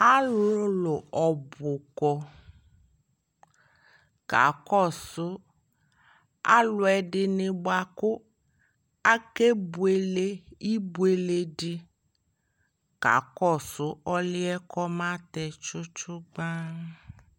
Alʋlʋ ɔbʋ kɔ kakɔsʋ alʋ ɛdɩnɩ bʋa kʋ akebuele ibuele dɩ kakɔsʋ ɔlʋ yɛ kʋ ɔmatɛ tsʋtsʋgban